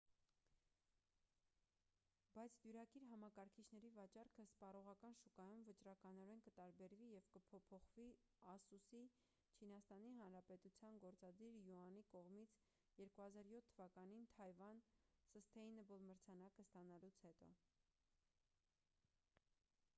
բայց դյուրակիր համակարգիչների վաճառքը սպառողական շուկայում վճռականորեն կտարբերվի և կփոփոխվի ասուս-ի չինաստանի հանրապետության գործադիր յուանի կողմից 2007 թվականին թայվան սըստեյնըբլ մրցանակը ստանալուց հետո